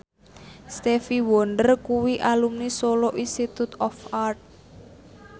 Stevie Wonder kuwi alumni Solo Institute of Art